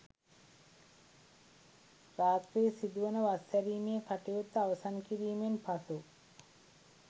රාත්‍රී සිදුවන වස් ඇරීමේ කටයුත්ත අවසන් කිරීමෙන් පසු